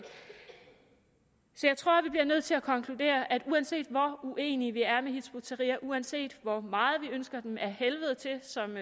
så jeg tror vi bliver nødt til at konkludere at uanset hvor uenige vi er med hizb ut tahrir uanset hvor meget vi ønsker dem ad helvede til som